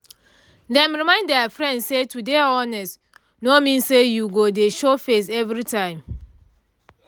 dem remind their friend say to dey honest no mean say you go dey show face every time